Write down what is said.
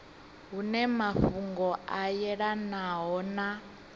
hune mafhungo a yelanaho na